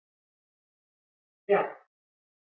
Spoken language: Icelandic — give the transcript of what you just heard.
Brjánn